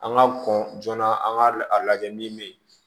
An ka kɔn joona an ka layɛ min bɛ yen